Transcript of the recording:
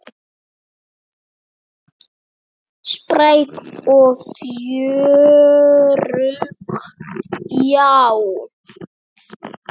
Spræk og fjörug, já.